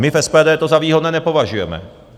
My v SPD to za výhodné nepovažujeme.